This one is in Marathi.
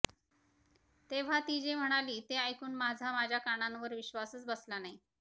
तेव्हा ती जे म्हणाली ते ऐकून माझा माझ्या कानांवर विश्वासच बसला नाही